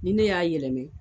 Ni ne y'a yɛlɛma